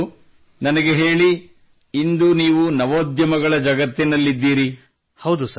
ಒಳ್ಳೆಯದು ನನಗೆ ಹೇಳಿ ಇಂದು ನೀವು ನವೋದ್ಯಮಗಳ ಜಗದಲ್ಲಿದ್ದೀರಿ